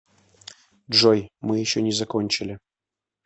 джой мы еще не закончили